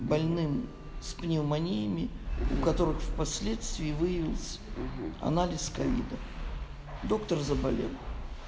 больным с пневмониями у которых впоследствии выявилось анализ ковида доктор заболел